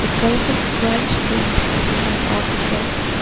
Colourful front train is passing by on the track.